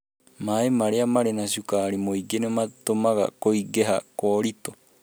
Maĩ maria marĩ na cukari mũingĩ nĩ matũmaga Kũingĩha kwa Ũritũ.